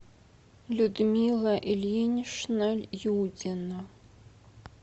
людмила ильинична юдина